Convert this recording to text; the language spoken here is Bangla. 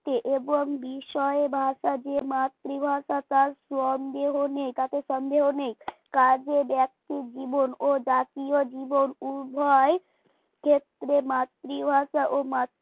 এবং বিষয় ভাষাকে মাতৃভাষা তার সন্দেহ নেই তাতে সন্দেহ নেই কাজেই ব্যক্তি জীবন ও জাতীয় জীবন উন্নয়নের ক্ষেত্রে মাতৃভাষা ও মাতৃ